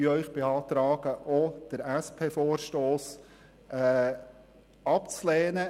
Wir beantragen Ihnen zudem, auch den SP-JUSO-PSA-Vorstoss abzulehnen.